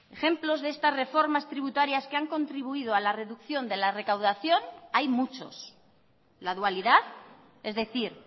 ejemplos de estas reformas tributarias que han contribuido a la reducción de la recaudación hay muchos la dualidad es decir